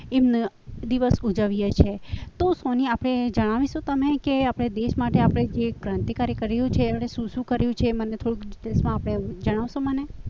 એ દિવસ ઉજવીએ છીએ તો સોની આપણે જણાવશો તમે કે આપણે દેશ માટે જે ક્રાંતિકારી એ કર્યું છે એમણે શું શું કર્યું છે તેને થોડું ડિટેલ્સમાં જણાવશો તમે